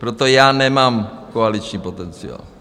Proto já nemám koaliční potenciál.